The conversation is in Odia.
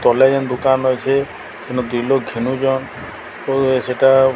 ତଲେ ଯେଁ ଦୁକାନ୍ ଅଛି। ସେନ ଦୁଇ ଲୋଗ୍ ଖେନୁଚନ୍। ଓ ସେଟା --